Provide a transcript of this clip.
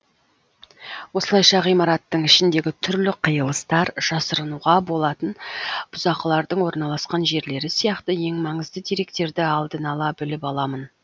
осылайша ғимараттың ішіндегі түрлі қиылыстар жасырынуға болатын бұзақылардың орналасқан жерлері сияқты ең маңызды деректерді алдын ала біліп аламын